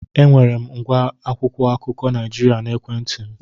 Enwere m ngwa akwụkwọ akụkọ Naịjirịa n'ekwentị m.